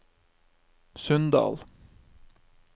Sunndal